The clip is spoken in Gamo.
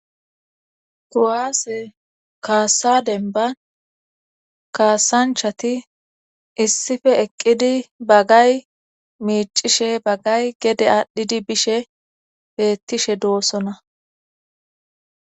kuwaase kaasa dennban kaasanchati issife eqqidi baggay miicishe bagay gede aadhdhidi bishe beettishe doossona